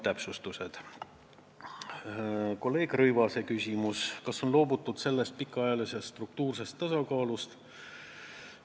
Kolleeg Rõivase küsimus: kas on loobutud pikaajalisest struktuursest tasakaalust?